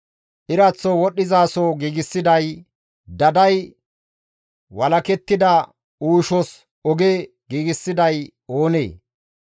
Iraththo wodhdhizaso giigsiday; daday walakettida uushos oge giigsiday oonee?